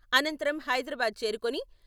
అనంతరం హైదరాబాద్ చేరుకుని..